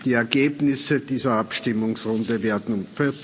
Die Ergebnisse dieser Abstimmungsrunde werden